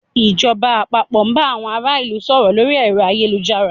Ìjọba àpapọ̀ bá àwọn ará ìlú sọ̀rọ̀ lórí ẹ̀rọ ayélujárs